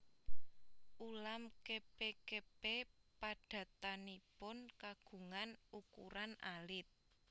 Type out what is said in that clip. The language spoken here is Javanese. Ulam kepe kepe padatanipun kagungan ukuran alit